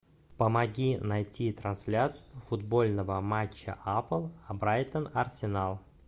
помоги найти трансляцию футбольного матча апл брайтон арсенал